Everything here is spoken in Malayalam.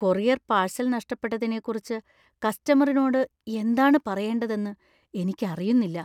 കൊറിയർ പാഴ്സൽ നഷ്ടപ്പെട്ടതിനെക്കുറിച്ച് കസ്റ്റമറിനോട് എന്താണ് പറയേണ്ടതെന്ന് എനിക്കറിയുന്നില്ല.